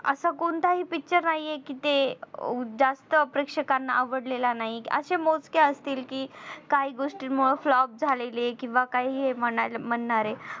असा कोणता हि Picture नाहीये कि ते जास्त प्रेक्षकांना आवडलेला नाही असे मोजके असतील कि काही गोष्टींमुळे flop झालेले किंवा काही हे म्हणणारे